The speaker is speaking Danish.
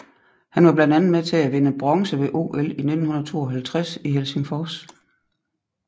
Han var blandt andet med til at vinde bronze ved OL i 1952 i Helsingfors